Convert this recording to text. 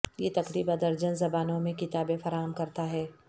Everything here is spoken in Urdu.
یہ تقریبا درجن زبانوں میں کتابیں فراہم کرتا ہے